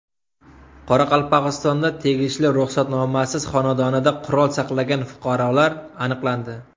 Qoraqalpog‘istonda tegishli ruxsatnomasiz xonadonida qurol saqlagan fuqarolar aniqlandi.